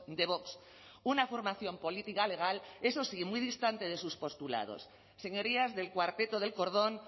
de vox una formación política legal eso sí muy distantes de sus postulados señorías del cuarteto del cordón